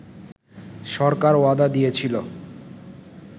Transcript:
সরকার ওয়াদা দিয়েছিলো